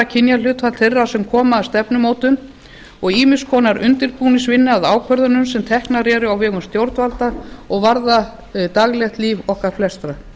kynjahlutfall þeirra sem koma að stefnumótun og ýmiss konar undirbúningsvinnu eða ákvörðunum sem teknar eru á vegum stjórnvalda og varða daglegt líf okkar flestra